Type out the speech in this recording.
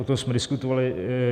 O tom jsme diskutovali.